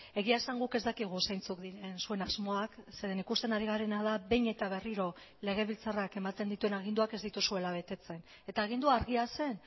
egia esan guk ez dakigu zeintzuk diren zuen asmoak zeren ikusten ari garena da behin eta berriro legebiltzarrak ematen dituen aginduak ez dituzuela betetzen eta agindua argia zen